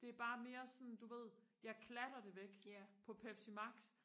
det er bare mere sådan du ved jeg klatter det væk på pepsi max